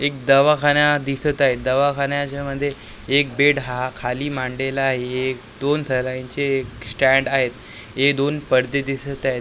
एक दवाखाना दिसत आहे दवाखान्याच्या मध्ये एक बेड हा खाली मांडलेला आहे एक दोन थरांचे एक स्टँड आहे हे दोन पडदे दिसत आहेत .